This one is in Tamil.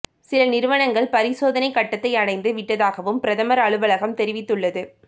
சில நிறுவனங்கள் பரிசோதனை கட்டத்தை அடைந்து விட்டதாகவும் பிரதமர் அலுவலகம் தெரிவித்துள்ளது